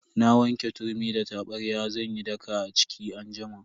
Na wanke turmi da tabarya zan yi daka a ciki anjima.